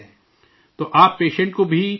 تو آپ پیشنٹ کو بھی، آپ بھی دیکھتے ہیں